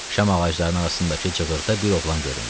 Şam ağaclarının arasındakı cığırda bir oğlan göründü.